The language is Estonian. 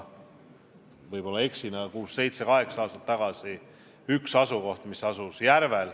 Võib-olla ma eksin, aga kuus-seitse-kaheksa aastat tagasi arutati üht asukohta, mis asus Järvel.